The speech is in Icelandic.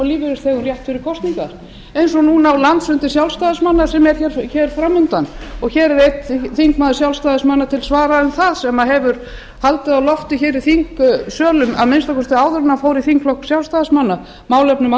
rétt fyrir kosningar eins og núna á landsfundi sjálfstæðismanna sem er fram undan hér er einn þingmaður sjálfstæðismanna til svara um það sem hann hefur haldið á lofti í þingsölum að minnsta kosti áður en hann fór í þingflokk sjálfstæðismanna um málefni